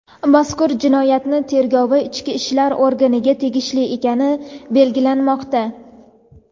mazkur jinoyatning tergovi ichki ishlar organiga tegishli ekani belgilanmoqda.